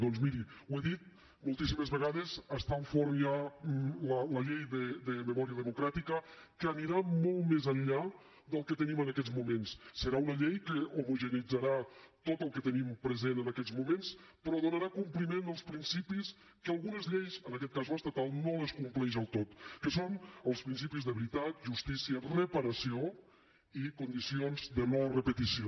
doncs miri ho he dit moltíssimes vegades està al forn ja la llei de memòria democràtica que anirà molt més enllà del que tenim en aquests moments serà una llei que homogeneïtzarà tot el que tenim present en aquests moments però donarà compliment als principis que algunes lleis en aquest cas l’estatal no compleixen del tot que són els principis de veritat justícia reparació i condicions de no repetició